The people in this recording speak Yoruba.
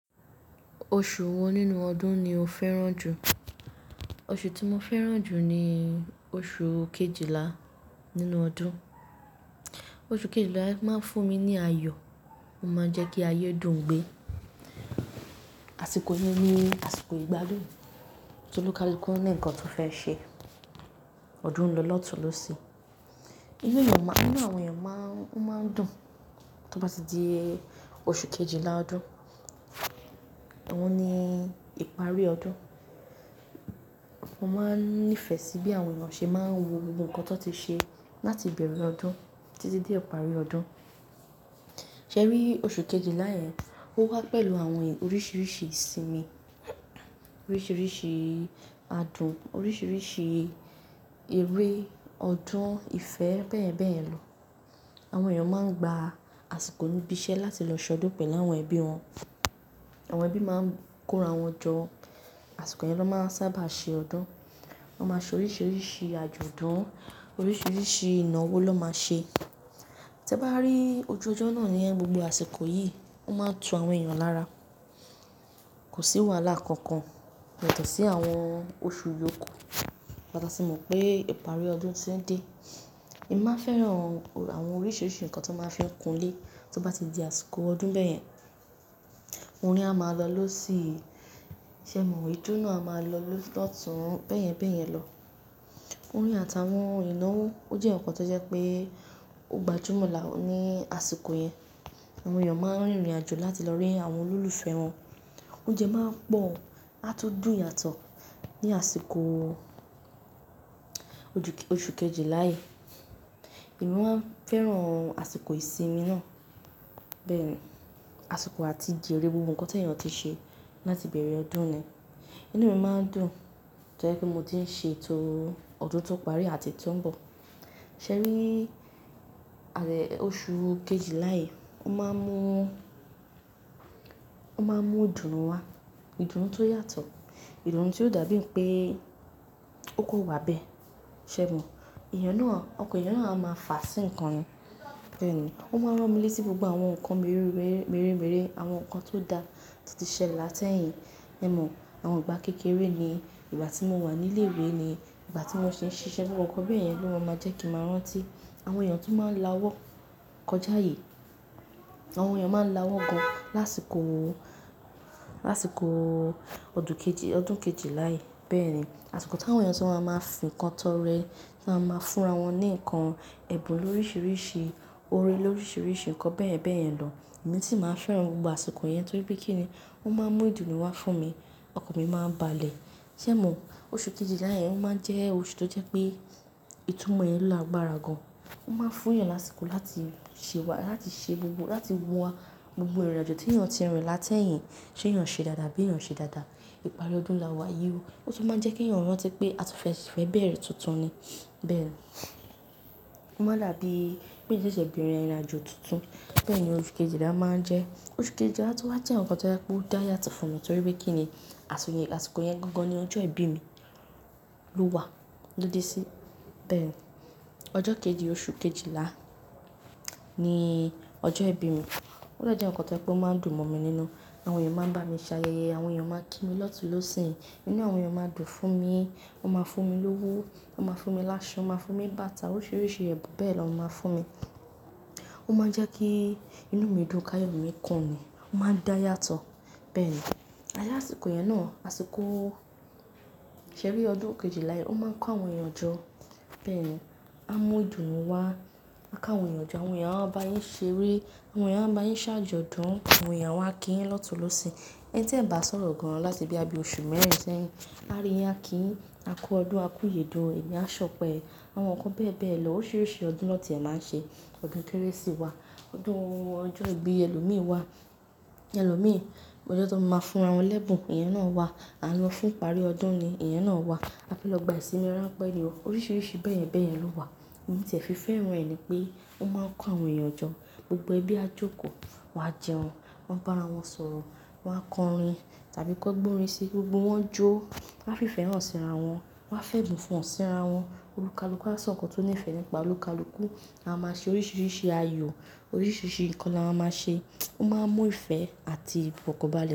Oṣù wo nínú ọdún ni o fẹ́ràn jù? Oṣù tí mo fẹ́ràn jù ni oṣù kejìlá nínú ọdún. Oṣù kejìlá máa ń fún mi ní ayọ̀, ó máa ń jẹ́ kí ayé dùn gbé. Àsìkò yìí ni àsìkò ìgbádùn, tòlukàlókó nǹkan tó fẹ́ ṣe. Ọdún ń lọ lọ́tùú lọ́sìí. Inú àwọn èèyàn máa ń dùn tí ó bá ti di oṣù kejìlá ọdún. Óun ní ìparí ọdún. Mo máa ń nífẹ̀ẹ́ sí bí àwọn èèyàn ṣe máa ń wo gbogbo nǹkan tó ti ṣe láti bẹ̀rẹ̀ ọdún títí dé ìparí ọdún. Ṣé rí, oṣù kejìlá yẹn ó wá pẹ̀lú àwọn oríṣiríṣi ìsinmi, oríṣiríṣi adùn, oríṣiríṣi eré, ọdún ìfẹ́ bẹ́ẹ̀ bẹ́ẹ̀ lọ. Àwọn èèyàn máa ń gba àsìkò ní bí iṣẹ́ láti lọ ṣọdún pẹ̀lú àwọn ẹbí wọn. Àwọn ẹbí máa ń kóra wọn jọ. Àsìkò yen ló máa ń sábà ṣe ọdún. Wọ́n máa ṣe oríṣiríṣi àjọ̀dún, oríṣiríṣi ìnáwó ló máa ṣe. Tẹ bá rí ojú ọjọ́ náà ní gbogbo àsìkò yìí, ó máa ń tu àwọn èèyàn lára. Kò sí wàhálà kankan yàtọ̀ sí àwọn oṣù ìlòkù. Ìgbátatì mo pé ìparí ọdún ti ń dé. Èmi máa ń fẹ́ràn àwọn oríṣiríṣi nǹkan tó máa ń fi n kùn lé tí ó bá ti di àsìkò ọdún bẹ́ẹ̀ yẹn. Orin a máa lọ lọ́sìí. Sẹ́ mo, ijo náà a máa lọ lọ́tùú bẹ́ẹ̀ bẹ́ẹ̀ lọ. Orin àtàwọn ìnáwó o jẹ́ nǹkan tó jẹ́ pé ó gbajúmọ̀ ni àsìkò yẹn. Àwọn èèyàn máa ń rìnrìn-àjò láti lọ rí àwọn olólùfẹ́ wọn. Oúnjẹ máa ń pọ̀, á tú dùn yàtọ̀ ní àsìkò oṣù kejìlá yìí. Èmi máa ń fẹ́ràn àsìkò ìsinmi náà bẹ́ẹ̀ ni àsìkò àti jeré gbogbo nǹkan tí èèyàn ti ṣe láti bẹ̀rẹ̀ ọdún ni. Inú mi máa ń dùn tó jẹ́ pé mo ti ń ṣe to ọdún tó parí àti ti ó ń bọ̀. Ṣé rí, oṣù kejìlá yìí ó máa ń mú, ó máa ń mú ìdùnnú wá, ìdùnnú tó yàtọ̀, ìdùnnú tí ó dàbí pé ó kòn wà bẹ́ẹ̀. Sẹ́ mo, èèyàn náà, ọkọ èèyàn náà máa fà á sí nǹkan yẹn bẹ́ẹ̀ ni. Ó máa rán mi létí gbogbo àwọn nǹkan méremere, àwọn nǹkan tó da to ti ṣẹlẹ̀ látẹ̀ yìí. Ẹ́ mo, àwọn ìgbà kékeré ni ìgbà tí mo wà ní ilé ìwé ni, ìgbà tí mo ṣe ń ṣiṣẹ́ gbogbo nnkan bèèyàn ló máa máa jẹ́ kí n màá rántí. Àwọn èèyàn tun máa ń la wọ́ kọjá aye Àwọn èèyàn máa ń la wọ́ gan lásìkò, lásìkò ọdún kejìlá yìí. Bẹ́ẹ̀ ni, àsìkò tí àwọn èèyàn tó máa ń fi nǹkan tọrẹ, tí wọ́n máa ń fúnra wọn ní nǹkan, ẹ̀bùn lóríṣiríṣi, ore lóríṣiríṣi nǹkan bẹ́ẹ̀ bẹ́ẹ̀ lọ. Èmi sì máa ń fẹ́ràn gbogbo àsìkò yẹn torí pé kí ni ó máa ń mú ìdùnnú wá fún mi, ọkan mi máa ń ba à lè. Sẹ́ mo, oṣù kejìlá yìí ó máa ń jẹ́ oṣù tó jẹ́ pé ìtumọ̀ ẹ̀ ń la gbára gan. Ó máa ń fún èèyàn lásìkò láti ṣe wá, láti ṣe gbogbo, láti wo gbogbo ìrìn-àjò tí èèyàn ti rìn láti ẹ̀yìn, ṣe èèyàn ṣe dáadáa, bí èèyàn o ṣe dáadáa. Ìparí ọdún la wá yí ó. Ó tún máa ń jẹ́ kí èèyàn rántí pé a tun fẹ́ ṣe bẹ̀rẹ̀ tuntun ni. Bẹ́ẹ̀ ni. O maá n dàbí pé eyan ṣe ṣe bere ìrìn-àjò tuntun. Bẹ́ẹ̀ ni oṣù kejìlá máa ń jẹ́. Oṣù kejìlá tó wá jẹ́ nǹkan tó dáje pe ọ̀ dá yàtọ̀ fún mi torí pé kí ni àsìkò yẹn gangan ni ọjọ́ ìbí mi ló wà lóde sí. Bẹ́ẹ̀ ni. Ọjọ́ kejì oṣù kejìlá ni ọjọ́ ìbí mi. Ó dàjẹ́ nǹkan tó máa ń dùn mọ̀ mi nínú. Àwọn èèyàn máa ń bá mi ṣ'ayẹyẹ. Àwọn èèyàn máa ń kí mi lọ́tùú lọ́sìn. Inú àwọn èèyàn máa dùn fún mi. Wọ́n máa fún mi lówó. Wọ́n máa fún mi láṣo. Wọ́n máa fún mi n báta oríṣiríṣi ẹ̀bùn bẹ́ẹ̀ ni wọ́n máa ń fún mi. Ó máa ń jẹ́ kí inú mi dùn káyòmíìkun ni. Ó máa ń dá yàtọ̀. Bẹ́ẹ̀ ni. Àyà àsìkò yẹn náà, àsìkò, ṣé rí ọdún kejìlá yìí ó máa ń kó àwọn èèyàn jọ. Bẹ́ẹ̀ ni. A mú ìdùnnú wá aká àwọn èèyàn jọ. Àwọn èèyàn máa ń bá yín ṣeré. Àwọn èèyàn máa ń bá yín ṣ'àjọ̀dún. Àwọn èèyàn a wá kí yín lọ́tùú lọ́sì. Ẹni tí ẹ̀ bá sọ̀rọ̀ gan láti bí i boya bí oṣù mẹ́rin sẹ́yìn, àárí yín á kí yin A kú ọdún, a kú ìyedùn, èmi á ṣọpo ẹ́. Àwọn nǹkan bẹ́ẹ̀ bẹ́ẹ̀ lọ. Oríṣiríṣi ọdún lọ ti ẹ máa ń ṣe. Ọdún Kérésì wá. Ọdún ọjọ́ ìbí ẹlòmíì wá. Ẹlòmíì, ọjọ́ tó máa maa fún àra wọn lẹ́bùn, ìyẹn náà wà. A lọ fún ìparí ọdún ni ìyẹn náà wà. A fẹ́ lọ gba ìsinmi, ránpẹ́ ni o. Oríṣiríṣi bẹ́ẹ̀ bẹ́ẹ̀ lọ wà. Èyí tí ẹ̀ fi fẹ́ràn rẹ̀ ni pé ó máa ń kó àwọn èèyàn jọ. Gbogbo ẹbí á jókòó, wà á jẹun, wọ́n bá wọn sọ̀rọ̀, wọ́n á kọrin tàbí kọ́ gbọ́ orin sí i gbogbo wọn jó. Wan á fi ìfẹ́ hàn síra wọn. Wọn á fẹ́bùn foọun síra wọn. Olúkalúkú á sọ nǹkan tó ní ìfẹ́ nípá olúkalúkú. A máa ṣe oríṣiríṣi ayọ̀. Oríṣiríṣi nǹkan la máa maa ṣe. Ó máa ń mú ìfẹ́ àti ìfọ̀kànbalẹ̀.